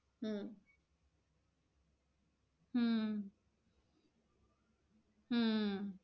हम्म हम्म हम्म